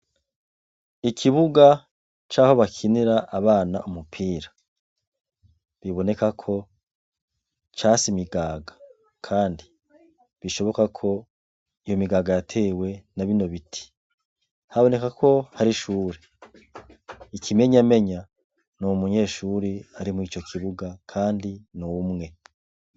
Ikibuga caho bakinira abana umupira, biboneka ko case imigaga kandi bishoboka ko iyo migaga yatewe nabino ibiti, haboneka ko hari ishure, ikimenyamenya nuwo munyeshure ari murico kibuga kandi numwe.